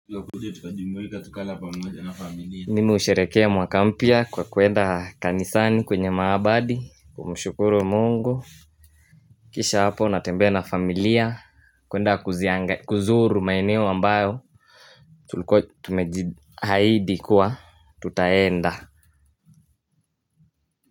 Tukakuja tukajumuika tukala pamoja na familia mimi husherekea mwaka mpya kwa kwenda kanisani kwenye maabadi kumushukuru mungu Kisha hapo natembea na familia kwenda kuzianga kuzuru maeneo ambayo tulikuwa Tumeji haidi kuwa tutaenda.